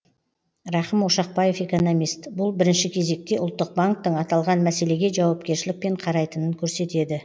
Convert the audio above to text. рахым ошақбаев экономист бұл бірінші кезекте ұлттық банктің аталған мәселеге жауапкершілікпен қарайтынын көрсетеді